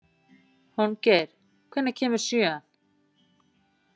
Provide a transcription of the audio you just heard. Hólmgeir, hvenær kemur sjöan?